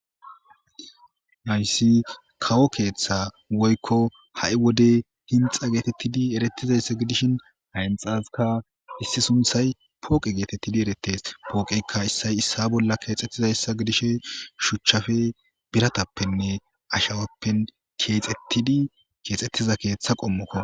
Hayssi kawo keeththa woykko ha'i wode dinxxe geetettidi erertizayssa gidishin hayssasikka sunththay pooqe geetettidi erettes. Pooqeykka issay issa bolla keexettidayssa gidishe shuchchappe, biratappenne ashawappe keexettidi keexettida keeththa qommoko.